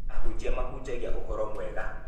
ahunjia mahaujagia ũhoro mwega.